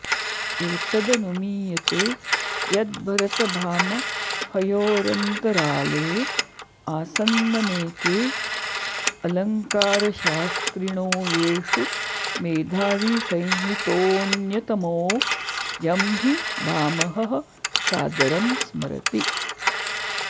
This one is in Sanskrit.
एतदनुमीयते यद्भरतभामहयोरन्तराले आसन्ननेके अलङ्कारशास्त्रिणो येषु मेधाविसंज्ञितोऽन्यतमो यं हि भामहः सादरं स्मरति